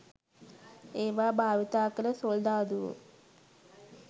ඒවා භාවිතා කළ සොල්දාදුවෝ